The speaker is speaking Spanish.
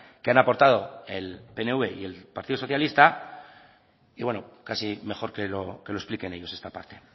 que han aportado el pnv y el partido socialista y bueno casi mejor que lo expliquen ellos esta parte